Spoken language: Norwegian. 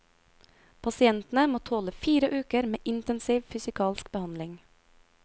Pasientene må tåle fire uker med intensiv fysikalsk behandling.